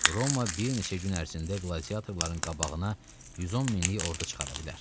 Roma bir neçə gün ərzində qladiatorların qabağına 110 minlik ordu çıxara bilər.